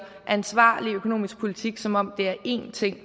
ansvarlig økonomisk politik som om det er én ting